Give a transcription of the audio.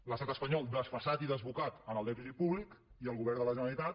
l’estat espanyol desfasat i desbocat en el dèficit públic i el govern de la generalitat